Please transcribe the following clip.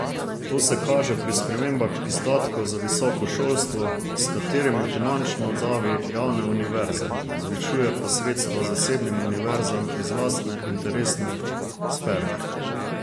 To se kaže pri spremembah izdatkov za visoko šolstvo, s katerimi finančno davi javne univerze, zvišuje pa sredstva zasebnim univerzam iz lastne interesne sfere.